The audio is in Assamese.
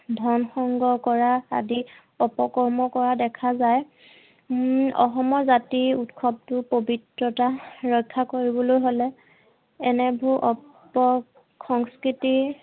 ধন সংগ্ৰহ কৰা আদি অপকৰ্ম কৰা দেখা যায় হম অসমৰ জাতীয় উৎসৱ টোৰ পবিত্ৰতা ৰক্ষা কৰিবলৈ হলে এনেবোৰ অপসংস্কৃতি